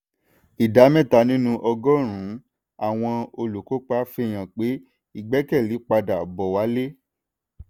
ìdá mẹ́tàlá nínú ọgọ́rùn-ún àwọn olùkópa fihan pé ìgbẹ́kẹ̀lé padà bò wálé.